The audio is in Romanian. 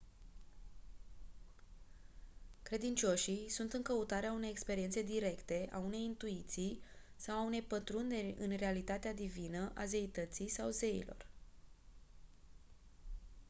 credincioșii sunt în căutarea unei experiențe directe a unei intuiții sau a unei pătrunderi în realitatea divină/a zeității sau zeilor